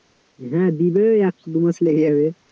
হ্যাঁ দিবে, এক দু মাস লেগে যাবে,